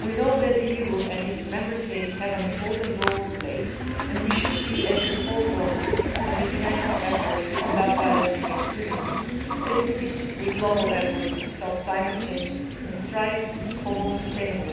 We know that the EU and its Member States have an important role to play, and we should be at the forefront of international efforts to combat violence against women, as we were with global efforts to stop climate change and strive for a more sustainable